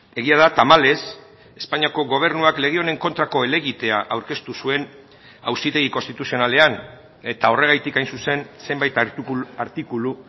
egia da tamalez espainiako gobernuak lege honen kontrako helegitea aurkeztu zuen auzitegi konstituzionalean eta horregatik hain zuzen zenbait artikulu